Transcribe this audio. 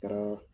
Kɛra